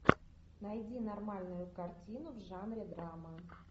найди нормальную картину в жанре драма